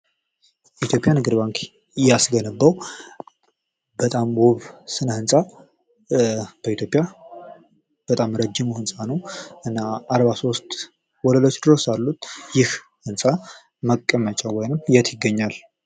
የኢትዮጵያ ንግድ ባንክ እያስገነባው በጣም ውብ ስነህንፃ በኢትዮጵያ በጣም ረጅሙ ህንፃ ነው ። እና አርባ ሶስት ወለሎች ድረስ አሉት ። ይህ ህንፃ መቀመጫው ወይም የት ይገኛል ?